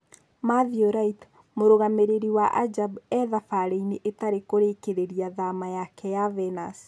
Mathew Light: Mũrũgamĩrĩri wa Ajab e-thabarĩinĩ Itarĩ kũrĩkĩrĩria thama yake na Venus